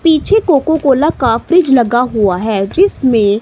पीछे Coca Cola का फ्रिज लगा हुआ है जिसमें--